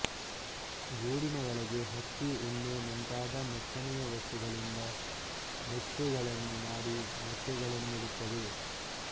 ಗೂಡಿನ ಒಳಗೆ ಹತ್ತಿ ಉಣ್ಣೆ ಮುಂತಾದ ಮೆತ್ತನೆಯ ವಸ್ತುಗಳಿಂದ ಮೆತ್ತೆಗಳನ್ನು ಮಾಡಿ ಮೊಟ್ಟೆ ಗಳನ್ನಿಡುತ್ತವೆ